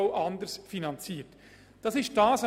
Auch die Finanzierung ist anders.